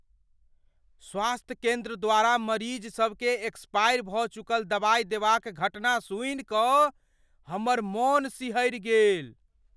स्वास्थय केन्द्र द्वारा मरीजसभकेँ एक्सपायर भऽ चुकल दवाइ देबाक घटना सुनि कऽ हमर मन सिहरि गेल।